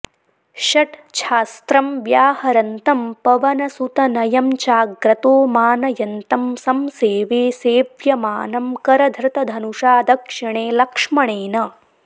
षट्छास्त्रं व्याहरन्तं पवनसुतनयं चाग्रतो मानयन्तं संसेवे सेव्यमानं करधृतधनुषा दक्षिणे लक्ष्मणेन